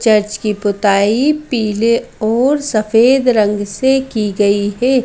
Church की पुताई पीले और सफेद रंग से की गई है।